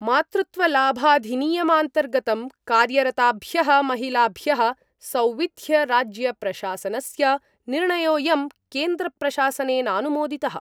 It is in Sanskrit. मातृत्वलाभाधिनियमान्तर्गतं कार्यरताभ्यः महिलाभ्यः सौविध्यराज्यप्रशासनस्य निर्णयोयं केन्द्रप्रशासनेनानुमोदितः।